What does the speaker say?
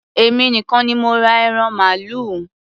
Èmi nìkan ní mo ra ẹran màálù.